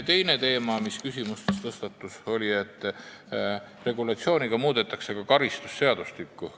Teine teema, mis küsimustes tõstatus, oli, et regulatsiooniga muudetakse ka karistusseadustikku.